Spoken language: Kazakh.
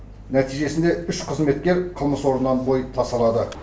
нәтижесінде үш қызметкер қылмыс орнынан бой тасалады